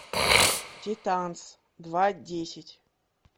титанс два десять